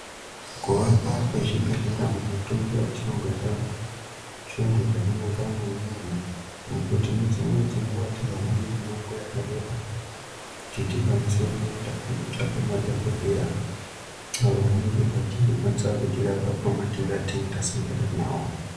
Kuvakwa kwezvibhedhlera mumatunhu etinogara zvintu zvakanaka maningi. Nekuti dzimweni dzenguva hatihambi mimango vakareba kuti tikwanise kuende kunotsvaka madhogodheya. Avo vanenge vachizokwanisa kutirapa pamatenda atinenge tasangana navo.